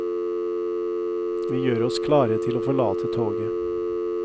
Vi gjør oss klare til å forlate toget.